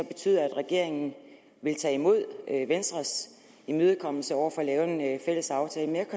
betyder at regeringen vil tage imod venstres imødekommenhed over for at lave en fælles aftale men